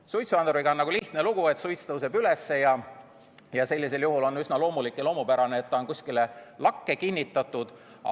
Suitsuanduriga on lihtne lugu: suits tõuseb üles ja sellisel juhul on üsna loomulik, et ta on kuskile lakke kinnitatud.